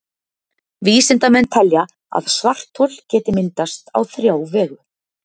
Vísindamenn telja að svarthol geti myndast á þrjá vegu.